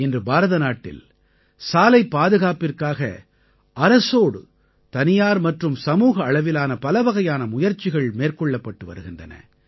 இன்று பாரதநாட்டில் சாலைப் பாதுகாப்பிற்காக அரசோடு தனியார் மற்றும் சமூக அளவிலான பலவகையான முயற்சிகள் மேற்கொள்ளப்பட்டு வருகின்றன